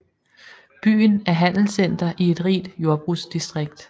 Byen er handelscenter i et rigt jordbrugsdistrikt